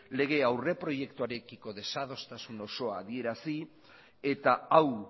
lege aurreproiektuarekiko desadostasun osoa adierazi eta hau